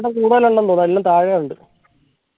കൂടുതലുണ്ടെന്ന് തോന്നുന് എല്ലാം താഴെയുണ്ട്